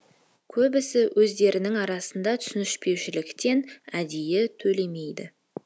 көбісі өздерінің арасында түсініспеушіліктен әдейі төлемейді